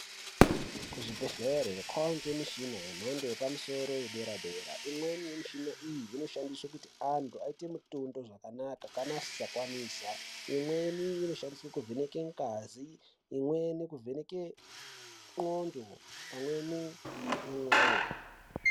Kuzvibhedhlere kwangemishina yemhando yepamsoro wedera dera. Imweni mshina iyi, inoshandiswa kuti antu ayite mitundo zvakanaka, kana asisakwanisa. Imweni inoshandiswe kuvheneke ngazi, imweni kuvheneke ndxondo, pamweni nemoyo.